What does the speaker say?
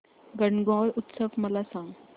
गणगौर उत्सव मला सांग